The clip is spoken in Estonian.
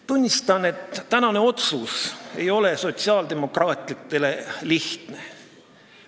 Tunnistan, et tänane otsus ei ole sotsiaaldemokraatidele lihtne.